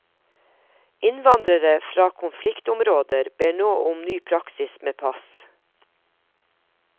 Innvandrere fra konfliktområder ber nå om ny praksis med pass.